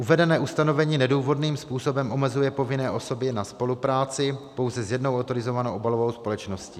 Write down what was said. Uvedené ustanovení nedůvodným způsobem omezuje povinné osoby na spolupráci pouze s jednou autorizovanou obalovou společností.